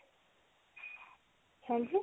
ਹਾਂਜੀ?